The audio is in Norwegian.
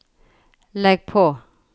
legg på